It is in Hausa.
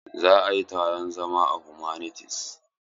Za a yi taron zama a humanities.